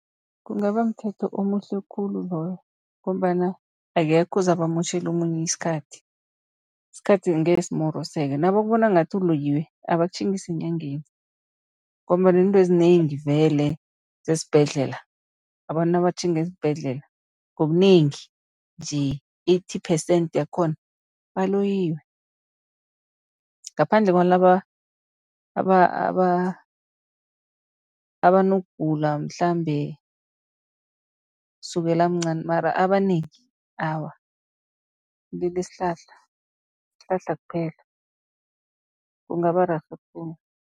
Kungaba mthetho omuhle khulu loyo, ngombana akekho ozabe amotjhela omunye isikhathi, isikhathi angeke simoroseke. Nabakubona ngathi uloyiwe abakutjhingise enyangeni, ngombana iintwezinengi vele zesibhedlela. Abantu nabatjhinga esibhedlela ngobunengi nje eighty percent yakhona, baloyiwe ngaphandle kwalaba abanokugula mhlambe, sukela amncani mara abanengi awa kulila isihlahla, sihlahla kuphela kungaba rerhe khulu.